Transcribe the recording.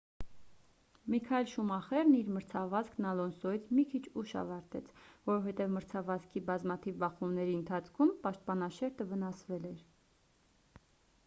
միքայել շումախերն իր մրցավազքն ալոնսոյից մի քիչ ուշ ավարտեց որովհետև մրցավազքի բազմաթիվ բախումների ընթացքում պաշտպանաշերտը վնասվել էր